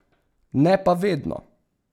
Ne pa vedno.